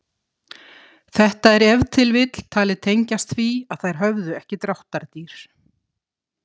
Þetta er ef til vill talið tengjast því að þær höfðu ekki dráttardýr.